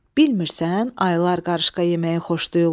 Bilmirsən, ayılar qarışqa yeməyi xoşlayırlar?